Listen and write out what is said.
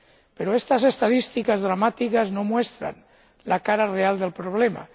Pero estas estadísticas dramáticas no muestran la cara real del problema.